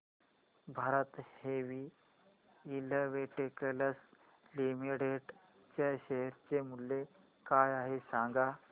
Bharat heavy electricals limited च्या share चे मूल्य काय आहे सांगा